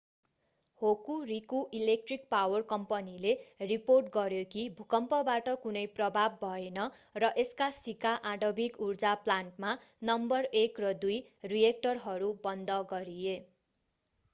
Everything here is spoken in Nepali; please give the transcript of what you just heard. होकुरिकु इलेक्ट्रिक पावर कम्पनीले रिपोर्ट गर्‍यो कि भूकम्पबाट कुनै प्रभाव भएन र यसका शिका आणविक ऊर्जा प्लान्टमा नम्बर 1 र 2 रिएक्टरहरू बन्द गरिए।